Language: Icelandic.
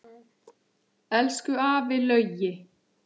Elsku afi Laugi.